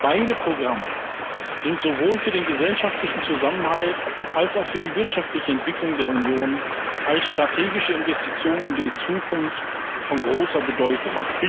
Beide Programme sind sowohl für den gesellschaftlichen Zusammenhalt als auch für die wirtschaftliche Entwicklung der Union als strategische Investition in die Zukunft von großer Bedeutung.